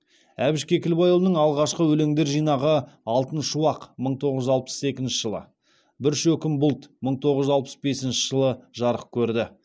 әбіш кекілбайұлының алғашқы өлеңдер жинағы алтын шуақ мың тоғыз жүз алпыс екінші жылы бір шөкім бұлт мың тоғыз жүз алпыс бесінші жылы жарық көрді